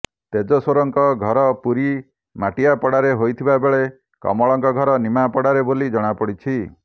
ତେଜେଶ୍ବରଙ୍କ ଘର ପୁରୀ ମାଟିଆପଡ଼ାରେ ହୋଇଥିବା ବେଳେ କମଳଙ୍କ ଘର ନିମାପଡ଼ାରେ ବୋଲି ଜଣାପଡ଼ିଛି